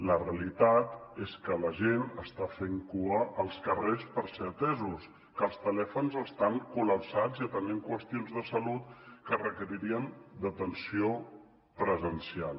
la realitat és que la gent està fent cua als carrers per ser atesos que els telèfons estan col·lapsats i atenent qüestions de salut que requeririen d’atenció presencial